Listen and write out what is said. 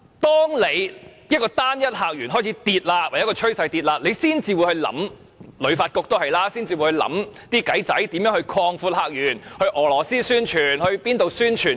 當單一客源的數字呈下跌趨勢，香港旅遊發展局才會開始提出點子來擴闊客源，到俄羅斯或其他地方宣傳香港。